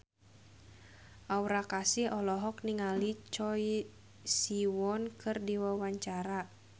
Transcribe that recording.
Aura Kasih olohok ningali Choi Siwon keur diwawancara